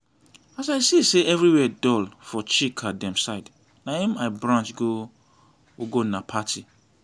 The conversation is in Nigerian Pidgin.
as i see say everywhere dull for chika dem side na im i branch go ugonna party